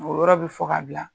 O yɔrɔ bɛ fɔ k'a bila,